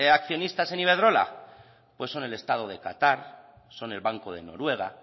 accionistas en iberdrola pues son el estado de qatar son el banco de noruega